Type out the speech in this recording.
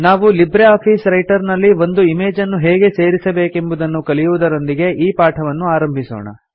ನಾವು LibreOffice Writer ನಲ್ಲಿ ಒಂದು ಇಮೇಜನ್ನು ಹೇಗೆ ಸೇರಿಸಬೇಕೆಂಬುದನ್ನು ಕಲಿಯುವುದರೊಂದಿಗೆ ಈ ಪಾಠವನ್ನು ಆರಂಭಿಸೋಣ